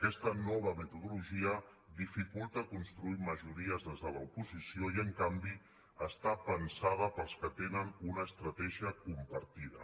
aquesta nova metodologia dificulta construir majories des de l’oposició i en canvi està pensada per als que tenen una estratègia compartida